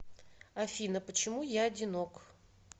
афина почему я одинок